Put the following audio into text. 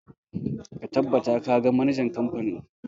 Ka tabbata ka ga manajan kamfanin!